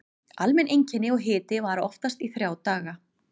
Almenn einkenni og hiti vara oftast í þrjá daga.